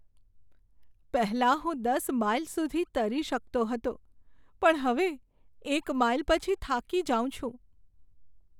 પહેલાં હું દસ માઈલ સુધી તરી શકતો હતો પણ હવે એક માઈલ પછી થાકી જાઉં છું.